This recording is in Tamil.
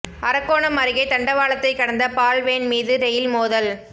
அரக்கோணம் அருகே தண்டவாளத்தை கடந்த பால் வேன் மீது ரெயில் மோதல்